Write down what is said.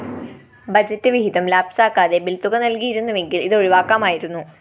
budget വിഹിതം ലാപ്‌സാക്കാതെ ബില്‍തുക നല്‍കിയിരുന്നുവെങ്കില്‍ ഇതൊഴിവാക്കാമായിരുന്നു